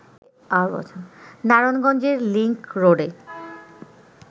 নারায়ণগঞ্জের লিংকরোডে